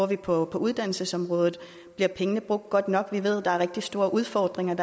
vi bruger på uddannelsesområdet bliver pengene brugt godt nok vi ved der er rigtig store udfordringer